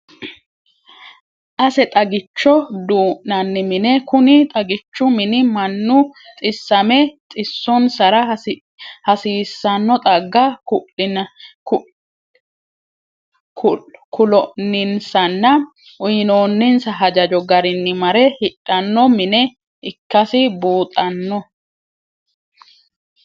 Ase xaggicho duu'nanni mine, kuni xaggichu mini manu xisame xiso'nsara hassisanno xagga kulo'ninsanna uyinoni'nsa hajajo garinni mare hidhano mine ikkasi buunxanni